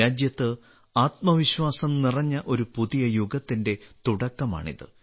രാജ്യത്ത് ആത്മവിശ്വാസം നിറഞ്ഞ ഒരു പുതിയ യുഗത്തിന്റെ തുടക്കമാണിത്